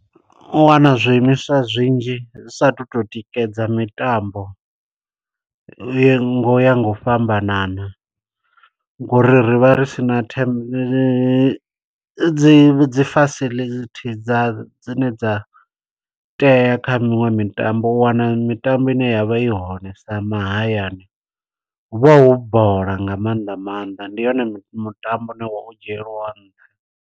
U wana zwiimiswa zwinzhi zwi sa tu to tikedza mitambo, ye ngo ya nga u fhambanana ngo uri ri vha ri sina them dzi facility dza dzine dza tea kha miṅwe mitambo. U wana mitambo ine yavha i hone sa mahayani, hu vha hu bola nga maanḓa maanḓa. Ndi yone mi mutambo une wa u dzhielwa nṱha.